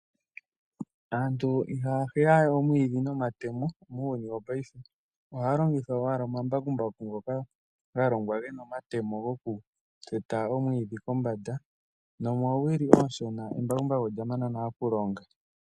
Aantu ihaya hweya we omwiidhi nomatemo muuyuni wopaife ohaya longitha owala omambakumbaku ngoka galongwa gena omatemo gokuteta omwiidhi kombanda nomoowili ooshona embakumbaku olyamana nale okulonga.